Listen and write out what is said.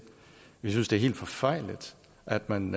vi synes det er helt forfejlet at man